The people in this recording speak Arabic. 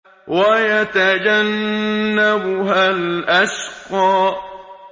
وَيَتَجَنَّبُهَا الْأَشْقَى